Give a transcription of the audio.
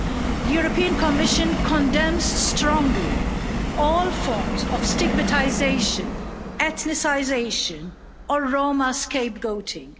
The European Commission condemns strongly all forms of stigmatisation, ethnicisation and Roma scapegoating.